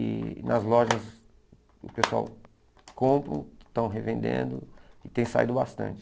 E nas lojas o pessoal compram, estão revendendo e tem saído bastante.